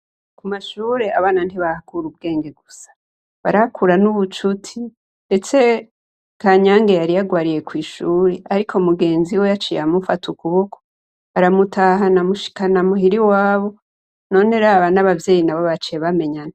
Ku mashure, abana ntibahakura ubwenge gusa. Barahakura n'ubucuti, ndetse KANYANGE yari yagwariye kw'ishuri, ariko mu genziwe yaciye amufata ukuboko aramutahana amushikana muhira iwabo, none raba n'abavyeyi nabo baciye bamenyana.